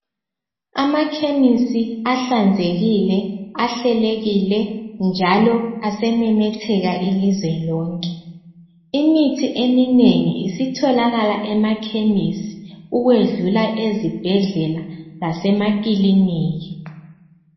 Amakhemisi ahlanzekile, ahlelekile njalo asememetheka ilizwe lonke imithi eminengi isitholakala emakhemisi ukwedlula ezibhedlela lasemaklinika.